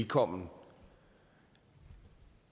kom